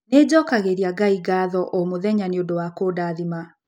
Nĩ njokagĩria Ngai ngatho o mũthenya nĩ ũndũ wa kũndathima